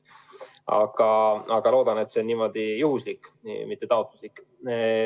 Aga loodan, et see on juhuslik, mitte taotluslik.